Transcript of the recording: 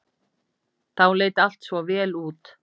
Þá leit allt svo vel út.